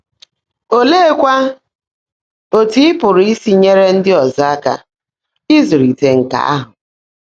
Óleékwá ótú ị́ pụ́rụ́ ísi nyèèré ndị́ ọ́zọ́ áká ị́zụ́líte nkà áhụ́?